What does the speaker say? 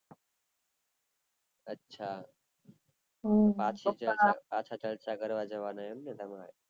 અચ્છા હમ પાછા જત્ર્રા કરવા જવાન એમ ને તમારે